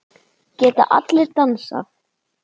Geta allir dansað?